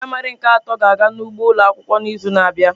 Ndị praịmarị nke atọ ga-aga n'ugbo ụlọ akwụkwọ n'izu na-abịa.